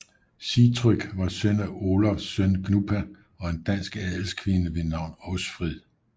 Sigtrygg var søn af Olavs søn Gnupa og en dansk adelskvinde ved navn Åsfrid